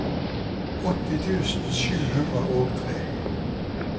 åtti tusen sju hundre og tre